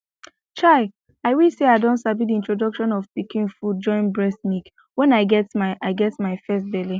chai i wish say i don sabi the introduction of pikin food join breast milk when i get my i get my first belle